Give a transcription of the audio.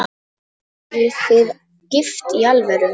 Eruð þið gift í alvöru?